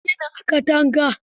Ya jingina a katanga.